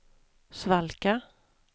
svalka